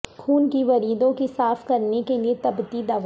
خون کی وریدوں کی صاف کرنے کے لئے تبتی دوا